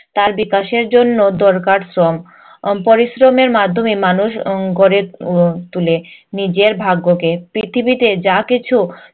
তার বিকাশের জন্য দরকার শ্রম। আহ পরিশ্রমের মাধ্যমে মানুষ উম গড়ে উহ তোলে নিজের ভাগ্যকে। পৃথিবীতে যা কিছু